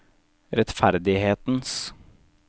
rettferdighetens